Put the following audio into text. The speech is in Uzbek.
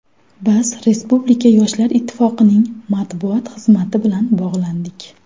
Biz Respublika Yoshlar Ittifoqining matbuot xizmati bilan bog‘landik.